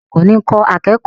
Olùkọ́ni ń kọ́ akẹ́kọ̀ọ́